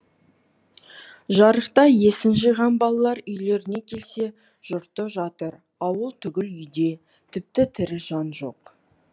жарықта есін жиған балалар үйлеріне келсе жұрты жатыр ауыл түгіл үй де тіпті тірі жан жоқ